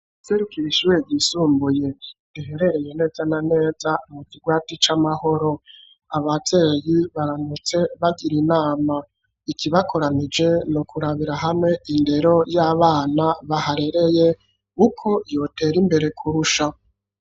Uwuserukira Ishure ryisumbuye riherereye neza na neza mu kirwati ,,c'amahoro, abavyeyi baraMutse bagira inama iki bakoranije nu kurabira hamwe indero y'abana baharereye ,uko yotera imbere kurusha.